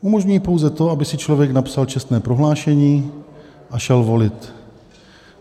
Umožňují pouze to, aby si člověk napsal čestné prohlášení a šel volit.